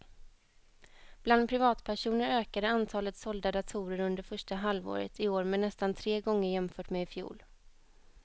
Bland privatpersoner ökade antalet sålda datorer under första halvåret i år med nästan tre gånger jämfört med i fjol.